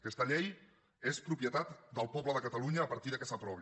aquesta llei és propietat del poble de catalunya a partir que s’aprovi